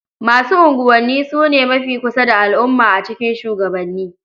Masu unguwanni su ne mafi kusa da al'umma a cikin shugabanni.